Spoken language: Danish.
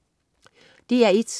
DR1: